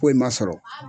Foyi ma sɔrɔ